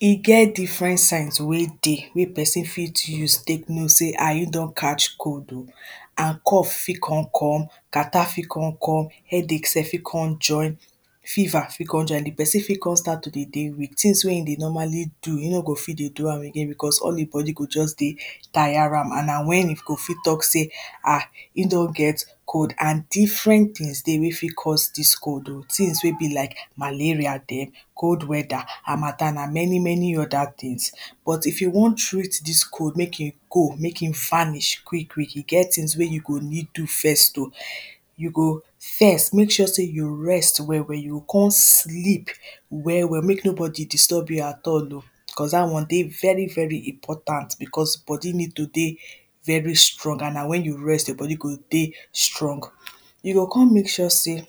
e get different size wey dey, wey person fit use tek know sey ah, in don catch cold o, and cough fit con come, cattarh fit con come, headache sef fit con join, fever fit con join. the person fit con start to de dey weak, tings wey in dey normally do, in no go fit dey do am again, because all e body go just dey tire am, and na wen e go fit tok sey, ah, in don get cold, and different tings dey wey fit cause dis cold o, tings wey be like: malaria dem, cold weather, harmattan and many many other tings. but if you wan treat dis cold mek in go, mek in vanish quick quick, e get tings wey you go need do first o. you go, first, mek sure sey you rest well well, yo con sleep well well mek no body disturb you at all o, cos dat one dey very very important because, body need to dey, very strong and na wen you rest your body go dey strong. we go con mek sure sey, mek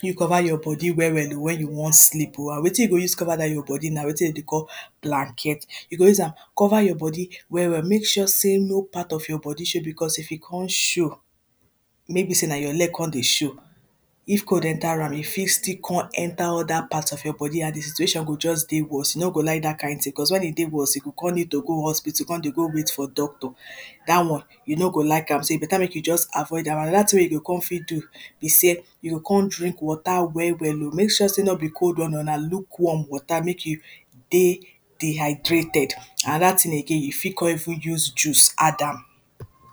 you cover your body well well o, wen you wan sleep o, amd wetin you go use cover dat your body na wetin den dey call blanket, you go use am cover your body well well, mek sure sey no part of your body show, because if e con show, maybe sey na your leg con dey show, if cold enter am, e fit still con enter other part of your body, and the situation go just dey worst, e no go like dat kind ting, cos wen e dey worst, e go con need to go hospital, con dey go wait for doctor. dat one, you no go like am. so, e better mek you just avoid am, and another ting wey yo con fit do be sey, yo con drink water well well o, mek sure sey no be cold one o, na luke warm water mek e dey dehydrated. and another ting again, you fit con even use juice add am.